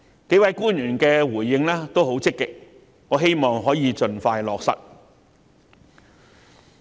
幾位官員的回應均十分積極，我希望可以盡快落實。